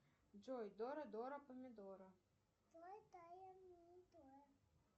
джой дора дора помидора